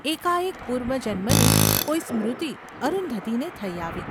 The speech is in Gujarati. એકાએક પૂર્વજન્મની કોઈ સ્મૃતિ અરુંધતીને થઈ આવી.